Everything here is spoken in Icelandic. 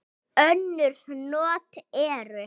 Önnur not eru